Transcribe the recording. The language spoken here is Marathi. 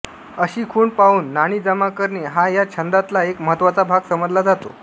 अशी खूण पाहून नाणी जमा करणे हा या छंदातला एक महत्त्वाचा भाग समजला जातो